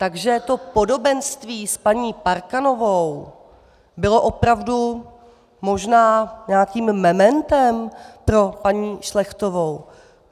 Takže to podobenství s paní Parkanovou bylo opravdu možná nějakým mementem pro paní Šlechtovou?